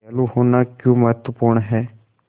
दयालु होना क्यों महत्वपूर्ण है